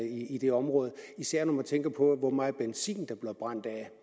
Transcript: i det område især når man tænker på hvor meget benzin der bliver brændt af